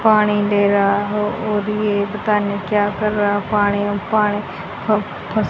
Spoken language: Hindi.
पानी ले रहा हो और ये पता नहीं क्या कर रहा पानी में पानी फ फस --